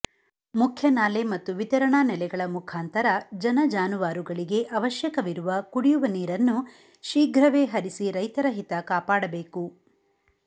ಮುಖ್ಯನಾಲೆ ಮತ್ತು ವಿತರಣಾ ನೆಲೆಗಳ ಮುಖಾಂತರ ಜನಜಾನುವಾರುಗಳಿಗೆ ಅವಶ್ಯಕವಿರುವ ಕುಡಿಯುವ ನೀರನ್ನು ಶೀಘ್ರವೇ ಹರಿಸಿ ರೈತರ ಹಿತ ಕಾಪಾಡಬೇಕು